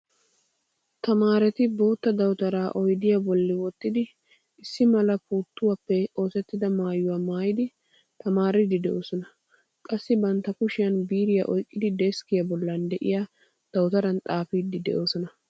Tamaareti bootta dawutara oydiya bolli wottidi issi mala puuttuwaappe oosettida maayuwa maayidi tamaariiddi de'oosona. Qassi bantta kushiyan biiriya oyqqidi deskkiyaa bollan de'yaa dawutaran xaafiiddi de'oosona.